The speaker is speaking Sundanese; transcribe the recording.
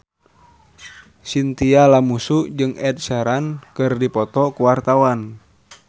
Chintya Lamusu jeung Ed Sheeran keur dipoto ku wartawan